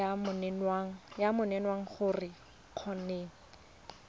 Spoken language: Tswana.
ya menwana gore o kgone